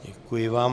Děkuji vám.